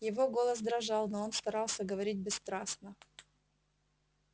его голос дрожал но он старался говорить бесстрастно